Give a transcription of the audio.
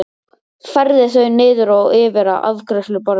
Færði þau niður og yfir að afgreiðsluborðinu.